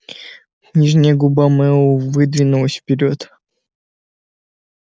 нижняя губа мэллоу выдвинулась вперёд